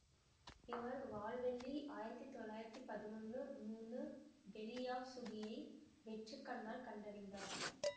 இவர் வால்வெள்ளி ஆயிரத்தி தொள்ளாயிரத்தி பதினொன்னு மூணு பெலியாவ்சுகியை வெற்று கண்ணால் கண்டறிந்தார்